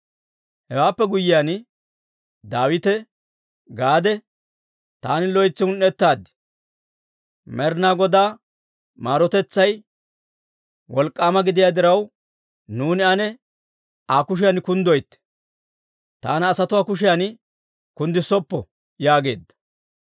Hewaappe guyyiyaan Daawite Gaade, «Taani loytsi un"ettaad. Med'inaa Godaa maarotetsay wolk'k'aama gidiyaa diraw, nuuni ane Aa kushiyan kunddoytte; taana asatuwaa kushiyan kunddissoppa» yaageedda.